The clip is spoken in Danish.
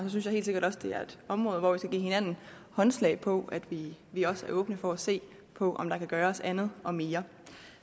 synes jeg helt sikkert også det er et område hvor vi skal give hinanden håndslag på at vi vi også er åbne for at se på om der kan gøres andet og mere